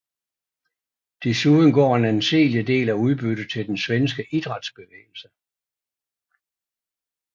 Desuden går en anseelig del af udbyttet til den svenske idrætsbevægelse